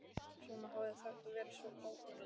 Svona hafði þetta verið svo ógnarlengi.